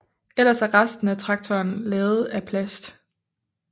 Ellers er resten af traktorerne lavet af plast